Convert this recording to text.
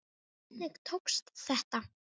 Hvernig tókst þetta?